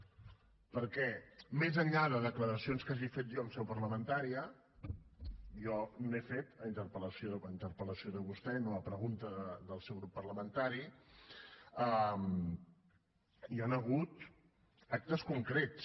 perquè més enllà de declaracions que hagi fet jo en seu parlamentària jo n’he fet a interpel·lació de vostè no a pregunta del seu grup parlamentari hi han hagut actes concrets